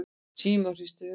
Símon hristi höfuðið.